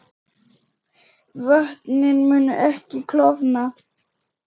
Vötnin munu ekki klofna